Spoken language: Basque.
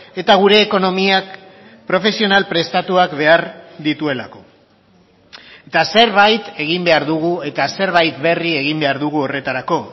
eta gure ekonomiak profesional prestatuak behar dituelako eta zerbait egin behar dugu eta zerbait berri egin behar dugu horretarako